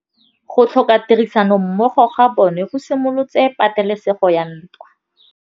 Go tlhoka tirsanommogo ga bone go simolotse patêlêsêgô ya ntwa.